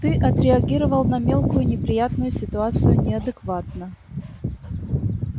ты отреагировал на мелкую неприятную ситуацию неадекватно